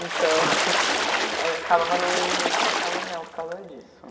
Então... É acabava não indo muito na casa dela por causa disso.